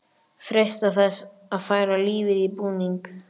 Freista þess að færa lífið í búning.